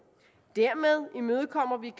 dermed imødekommer vi